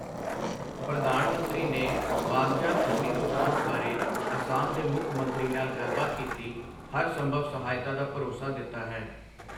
ਪ੍ਰਧਾਨ ਮੰਤਰੀ ਨੇ ਬਾਗ਼ਜਾਨ ਅਗਨੀ ਦੁਖਾਂਤ ਬਾਰੇ ਅਸਾਮ ਦੇ ਮੁੱਖ ਮੰਤਰੀ ਨਾਲ ਗੱਲਬਾਤ ਕੀਤੀ ਹਰ ਸੰਭਵ ਸਹਾਇਤਾ ਦਾ ਭਰੋਸਾ ਦਿੱਤਾ ਹੈ